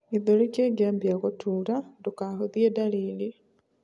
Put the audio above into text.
gĩthũri kingiambia gutuura, ndukahuthie dariri